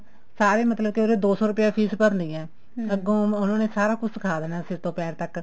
ਸਾਰੇ ਮਤਲਬ ਕੇ ਉਹਨੇ ਦੋ ਸੋ ਰੁਪਿਆ fees ਭਰਨੀ ਹੈ ਅੱਗੋਂ ਉਹਨਾ ਨੇ ਸਾਰਾ ਕੁੱਝ ਸਿਖਾ ਦੇਣਾ ਸਿਰ ਤੋਂ ਪੈਰ ਤੱਕ